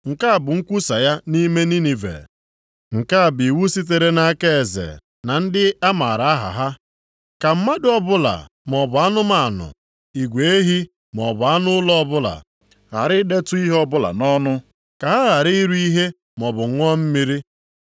Nke a bụ nkwusa ya nʼime Ninive: Nke a bụ iwu sitere nʼaka eze na ndị a maara aha ha: “Ka mmadụ ọbụla, maọbụ anụmanụ, igwe ehi maọbụ anụ ụlọ ọbụla, ghara idetu ihe ọbụla nʼọnụ, ka ha ghara iri ihe maọbụ ṅụọ mmiri.